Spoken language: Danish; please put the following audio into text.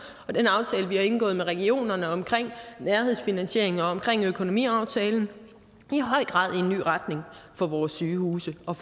og den aftale vi har indgået med regionerne omkring nærhedsfinansiering og omkring økonomiaftalen i høj grad en ny retning for vores sygehuse og